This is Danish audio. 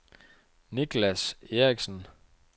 Nicklas Eriksen